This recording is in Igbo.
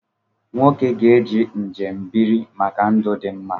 Nwoke ga-eje njembiri maka ndụ dimma